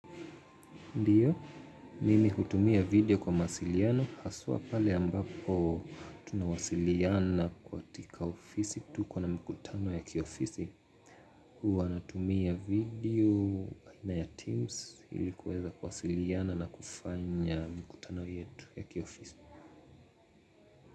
Ndiyo, mimi hutumia video kwa mawasiliano, haswa pale ambapo tunawasiliana katiki ofisi, tuko na mkutano ya kiofisi. Huwa natumia video aina ya Teams ili kuweza kuwasiliana na kufanya mkutano yetu ya kiofisi.